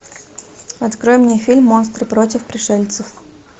открой мне фильм монстры против пришельцев